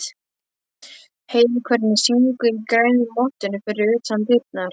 Heyrir hvernig syngur í grænu mottunni fyrir utan dyrnar.